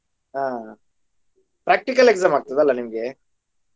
ಹಾ practical exam ಆಗ್ತದ ಅಲ್ವಾ ನಿಮಗೆ?